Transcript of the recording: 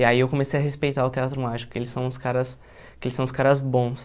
E aí eu comecei a respeitar o Teatro Mágico, porque eles são uns caras porque eles são uns caras bons.